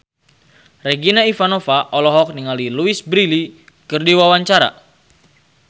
Regina Ivanova olohok ningali Louise Brealey keur diwawancara